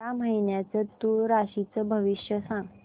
या महिन्याचं तूळ राशीचं भविष्य सांग